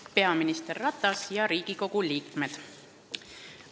Lugupeetud peaminister Ratas ja Riigikogu liikmed!